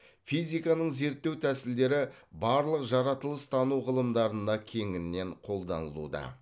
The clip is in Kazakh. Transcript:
физиканың зерттеу тәсілдері барлық жаратылыстану ғылымдарына кеңінен қолданылуда